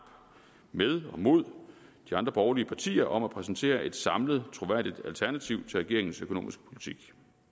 med og mod de andre borgerlige partier om at præsentere et samlet troværdigt alternativ til regeringens økonomiske politik